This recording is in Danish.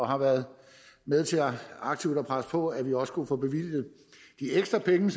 har været med til aktivt at presse på for at vi også kunne få bevilget de ekstra penge